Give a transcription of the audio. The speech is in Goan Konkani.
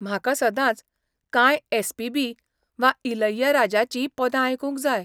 म्हाका सदांच कांय एस.पी.बी. वा इलैयराजाची पदां आयकूंक जाय.